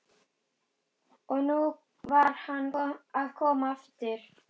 Og nú var hann að koma aftur!